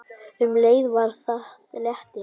Um leið var það léttir.